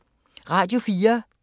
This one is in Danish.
Radio 4